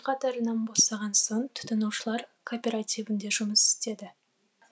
қатарынан босаған соң тұтынушылар кооперативінде жұмыс істеді